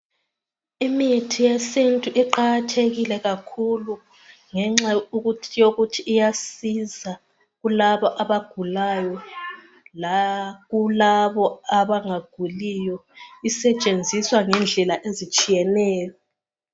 Imithi yesintu iqakathekile kakhulu ngenxa yokuthi iyasiza kulabo abagulayo, lakulabo abangaguliyo isetshenziswa ngendlela ezitshiyeneyo.